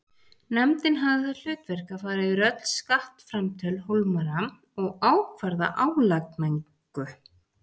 Nefndin hafði það hlutverk að fara yfir öll skattframtöl Hólmara og ákvarða álagningu.